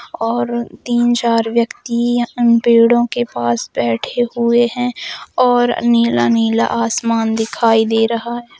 और तीन चार व्यक्ति पेड़ो के पास बैठे हुए है और नीला-नीला आसमान दिखाई दे रहा है।